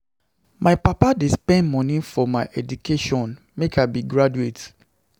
My papa dey spend moni for my education make I be graduate.